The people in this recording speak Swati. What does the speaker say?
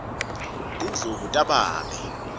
tindlubu tababe